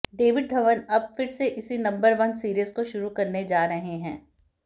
David Dhawan अब फिर से इसी नंबर वन सीरीज़ को शुरू करने जा रहे हैं